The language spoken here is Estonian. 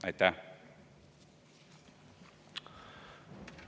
Aitäh!